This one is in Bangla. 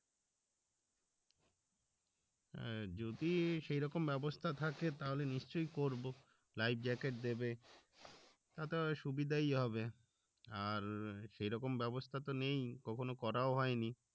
অ্যাঁ যদি সেরকম ব্যবস্থা থাকে তাহলে নিশ্চই করবো life, jacket দেবে, তাতে হয় সুবিধাই হবে, আর সেরকম ব্যবস্থা তো নেই কখনো করাও হয় নি